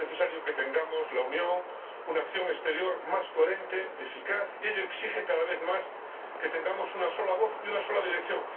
Es necesario que tengamos, que la Unión tenga, una acción exterior más coherente y eficaz y ello exige, cada vez más, que tengamos una sola voz y una sola dirección.